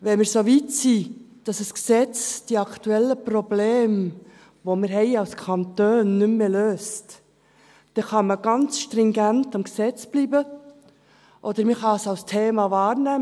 Wenn wir so weit sind, dass ein Gesetz die aktuellen Probleme, die wir als Kanton haben, nicht mehr löst, dann kann man ganz stringent beim Gesetz bleiben, oder man kann es als Thema wahrnehmen.